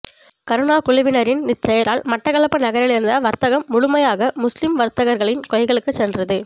கருணா குழுவினரின் இச்செயலால் மட்டக்களப்பு நகரில் இருந்த வர்த்தகம் முழுமையாக முஸ்லீம் வர்த்தகர்களின் கைகளுக்கு சென்றது